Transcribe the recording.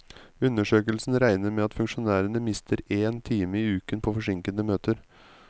Undersøkelsen regner med at funksjonærene mister én time i uken på forsinkede møter.